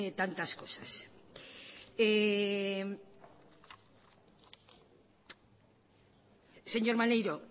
tantas cosas señor maneiro